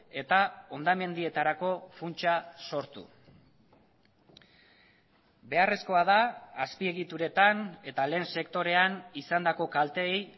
eta hondamendietarako funtsa sortu beharrezkoa da azpiegituretan eta lehen sektorean izandako kalteei